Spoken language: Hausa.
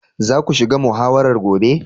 Za ku shiga muhawarar gobe.